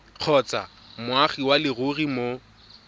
kgotsa moagi wa leruri mo